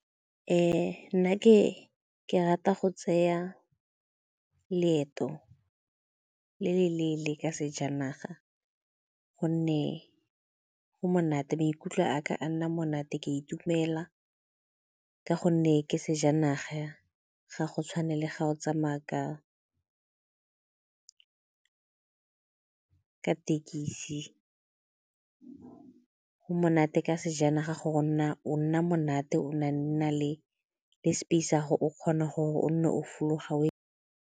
Nna ke rata go tseya leeto le le lelele ka sejanaga gonne go monate, maikutlo a ka nna monate ke a itumela ka gonne ke sejanaga ga go tshwane le ga o tsamaya ka ka thekisi. Go monate ka sejanaga o nna monate, o na nna le space sa'go o kgona gore o nne o fologa o.